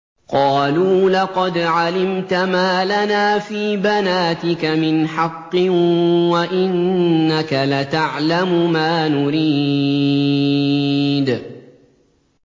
قَالُوا لَقَدْ عَلِمْتَ مَا لَنَا فِي بَنَاتِكَ مِنْ حَقٍّ وَإِنَّكَ لَتَعْلَمُ مَا نُرِيدُ